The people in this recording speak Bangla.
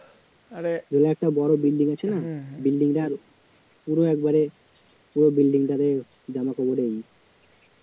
ওখানে একটা বড় building আছে না building টার পুরো একেবারে পুরো building টারে জামাকাপড়ের ও